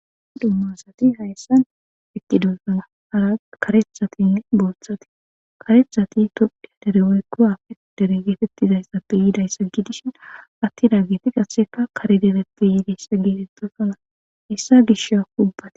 Dummasati hayssan eqqidosana hara karethatinne booththati karethati tophdhiya dere woykkowafe dere geetettizayssappe yiidayssa gidishin atti daa geeti qasseka karedeleppe yiidayssa geetenttosona issa gisha kubbati.